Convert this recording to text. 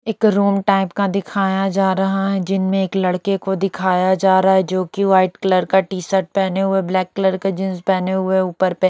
एक room type का दिखाया जा रहा है जिनमें एक लड़के को दिखाया जा रहा है जो कि व्हाइट कलर का टी-शर्ट पेहने हुए ब्लैक कलर का जींस पेहने हुए ऊपर पे --